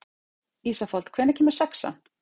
Ísafold, hvenær kemur sexan?